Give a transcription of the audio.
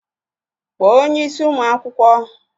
Kpọọ onye isí ụmụ akwụkwọ!